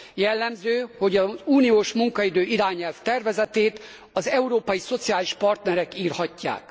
Jellemző, hogy az uniós munkaidő irányelv tervezetét az európai szociális partnerek írhatják.